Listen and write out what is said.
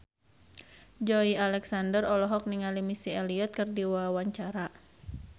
Joey Alexander olohok ningali Missy Elliott keur diwawancara